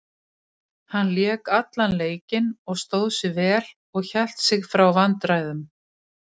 Hann lék allan leikinn og stóð sig vel og hélt sig frá vandræðum.